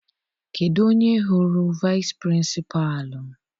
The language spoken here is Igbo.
Kedụ onye hụrụ vici Pịrịnsịpalụ?